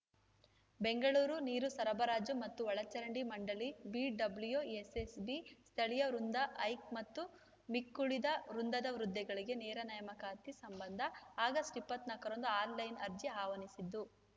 ಬೆಂಗಳೂರು ನೀರು ಸರಬರಾಜು ಮತ್ತು ಒಳಚರಂಡಿ ಮಂಡಳಿಬಿಡಬ್ಲ್ಯೂಎಸ್‌ಎಸ್‌ಬಿ ಸ್ಥಳೀಯ ವೃಂದಹೈಕ ಮತ್ತು ಮಿಕ್ಕುಳಿದ ವೃಂದದ ಹುದ್ದೆಗಳಿಗೆ ನೇರ ನೇಮಕಾತಿ ಸಂಬಂಧ ಆಗಸ್ಟ್‌ ಇಪ್ಪತ್ತ್ ನಾಕ್ ರಂದು ಆನ್‌ಲೈನ್‌ ಅರ್ಜಿ ಆಹ್ವಾನಿಸಿದ್ದು